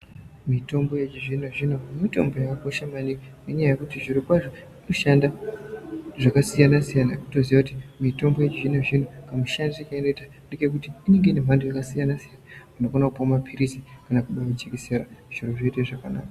Mitombo yechizvino zvino mitombo yakakosha maningi ngenyaya yekuti zvirokwazvo inoshanda zvakasiyana siyana toziya kuti mitombo yechizvino zvino kamushandire kainoita ngekekuti inenge ine mhando yakasiyana siyana unokona kuluwa mapirizi kana kudonhe jekesera zviro zvoite zvakanaka.